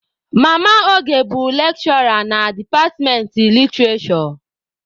Mama Oge bụ lekshụra na departmentị literishure.